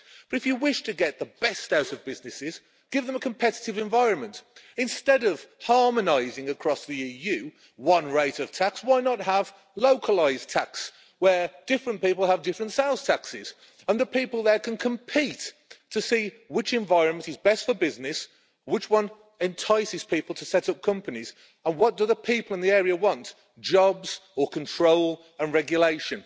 But if you wish to get the best out of businesses, give them a competitive environment instead of harmonising across the EU with one rate of tax. Why not have localised tax, where different people have different sales taxes and people can compete to see which environment is best for business, which one entices people to set up companies, and what do the people in the area want jobs or control and regulation?